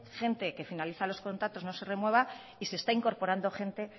qué gente que finaliza los contratos no se renueva y se está incorporando gente